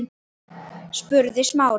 spurði Smári.